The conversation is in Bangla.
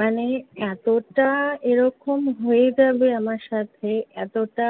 মানে, এতোটা এরকম হয়ে যাবে আমার সাথে, এতোটা